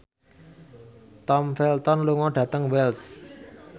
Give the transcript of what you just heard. Tom Felton lunga dhateng Wells